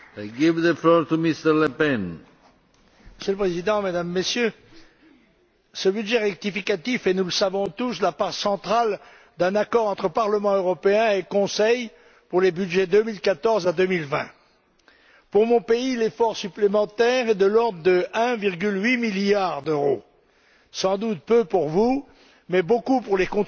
Monsieur le Président, Mesdames et Messieurs, ce budget rectificatif est nous le savons tous la part centrale d'un accord entre Parlement européen et Conseil pour les budgets 2014 à 2020. Pour mon pays, l'effort supplémentaire est de l'ordre de 1,8 milliard d'euros. Sans doute peu pour vous, mais beaucoup pour les contribuables français qui, après des années d'austérité,